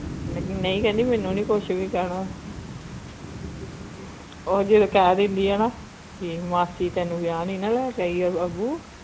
ਲੇਕਿਨ ਨਈ ਕਹਿੰਦੀ ਮੈਨੂੰ ਨੀ ਕੁਛ ਵੀ ਕਹਿਣਾ ਉਹ ਜਿਦੋਂ ਕਹਿ ਦਿੰਦੀ ਆ ਨਾ ਕਿ ਮਾਸੀ ਤੈਨੂੰ ਵਿਆਹ ਨੀ ਨਾ ਲੈਕੇ ਆਈ ਅ ਅੱਬੂ